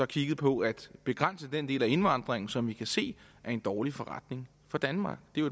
kiggede på at begrænse den del af indvandringen som vi kan se er en dårlig forretning for danmark det er